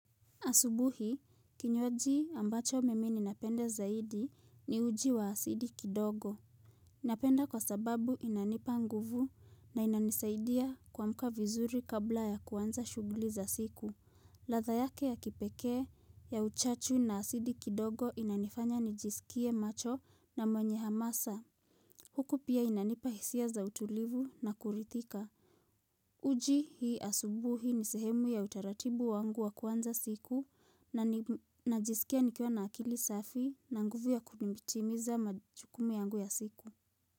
Asubuhi, kinywaji ambacho mimi ninapenda zaidi ni uji wa asidi kidogo. Napenda kwa sababu inanipa nguvu na inanisaidia kuamka vizuri kabla ya kuanza shughuli za siku. Ladha yake ya kipekee, ya uchachu na asidi kidogo inanifanya nijisikie macho na mwenye hamasa. Huku pia inanipa hisia za utulivu na kulidhika. Uji hii asubuhi ni sehemu ya utaratibu wangu wa kuanza siku na najisikia nikiwa na akili safi na nguvu ya kutimiza majukumi yangu ya siku.